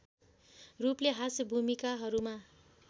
रूपले हाँस्य भूमिकाहरूमा